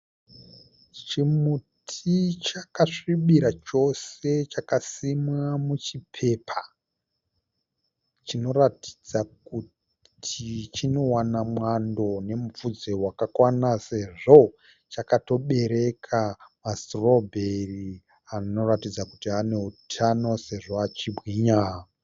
Chimuti chakasvibira chose chakasimwa muchipepa chinoratidza kuti chinowana mwando nemupfudze wakakwana sezvo chakatobereka masitirobheri anoratidza kuti aneutano sezvo achibwinya.